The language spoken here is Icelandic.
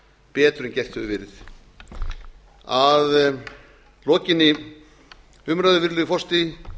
betur en gert hefur verið að lokinni umræðu virðulegi forseti